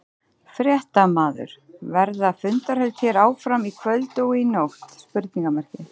Fréttamaður: Verða fundarhöld hér áfram í kvöld og í nótt?